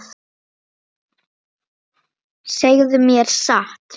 Segðu mér satt.